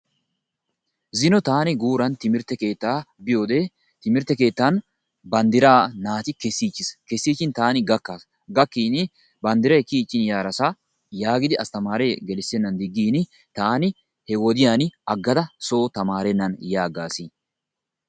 zino taani guuran timirtte keettaa biyoode timirtte keettan banddra naati kessichiis. kessichin taani gakkaas. gakkiin banddray kiyyichin yaarassa yaagidi asttamare gelissenan digin taani he wodiyaan aggada soo tamarennan ya aggaas.